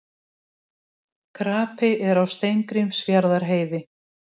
Krapi er á Steingrímsfjarðarheiði